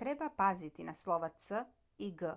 treba paziti na slova c i g